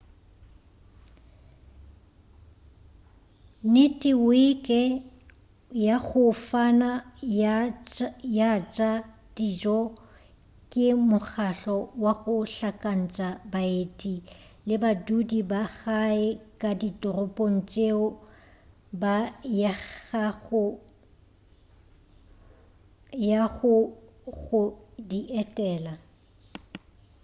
neteweke ya go fana ya tša dijo ke mokgahlo wa go hlakantša baeti le badudi ba gae ka ditoropong tšeo ba yago go di etela